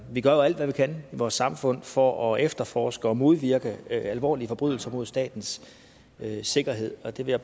vi gør jo alt hvad vi kan i vores samfund for at efterforske og modvirke alvorlige forbrydelser mod statens sikkerhed og der vil